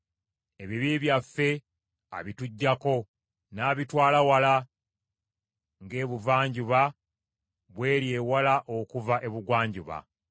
Ebibi byaffe abituggyako n’abitwala wala ng’ebuvanjuba bw’eri ewala okuva ebugwanjuba.